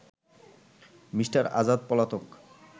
Me. Azad পলাতক